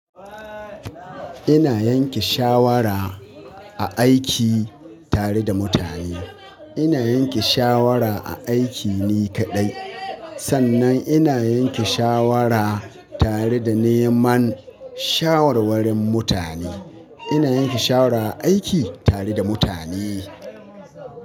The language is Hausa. Ina yanke shawara a aiki tare da mutane. Ina yanke shawara a aiki ni kaɗai. Sannan ina yanke shawara tare da neman shawarwarin mutane. Ina yanke shawara a aiki tare da mutane.